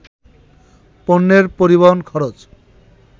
পণ্যের পরিবহন খরচ